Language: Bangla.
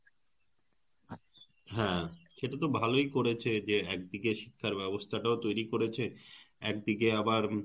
হ্যাঁ সেটা তো ভালই করেছে যে একদিকে শিক্ষার ব্যবস্থা টাও তৈরি করেছে একদিকে আবার,